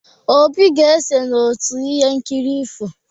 Obi ga-eso n'otu ihe nkiri ifo.